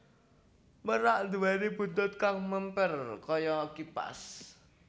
Merak nduwèni buntut kang mèmper kaya kipas